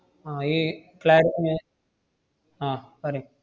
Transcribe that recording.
ആഹ് ഈ clari~ uh ah പറയ്.